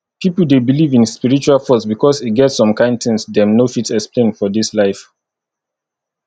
pipo de believe in spiritual force because e get some kind things dem no fit explain for dis life